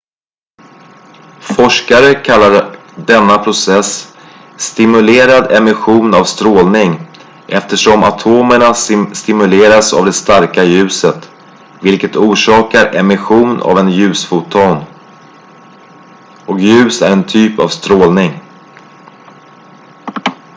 "forskare kallar denna process "stimulerad emission av strålning" eftersom atomerna stimuleras av det starka ljuset vilket orsakar emission av en ljusfoton och ljus är en typ av strålning.